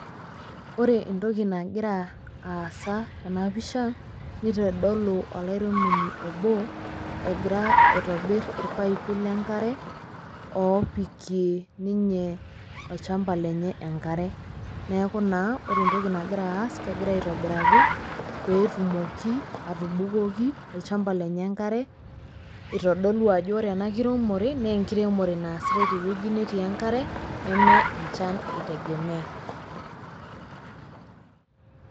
Wore entoki nakira aasa tena pisha, nitodolu olairemoni obo, egira aitobirr irpaipi lenkare, oopikie ninye olshamba lenye enkare, neeku naa wore entoki nakira aasa, kegira aitobiraki peetumoki atubukoki olshamba lenye enkare, itodolu ajo wore ena kiremore, naa enkiremore naasitae tewueji netii enkare, neme enjan itegemea.